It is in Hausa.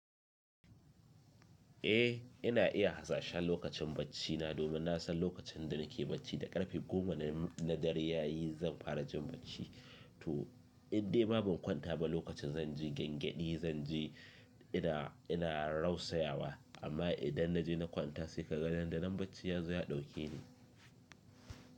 Eh ina iya hasashen lokacin baccina domin nasan lokacin da nake bacci da karfe goma na dare yayi zan fara jin bacci to Indai ma ban kwanta ba lokacin zanje gyan gyedi zanje ina ina rausa yawa amma idan naje na kwanta sai ka ga nan da nan bacci yazo ya dauke ni.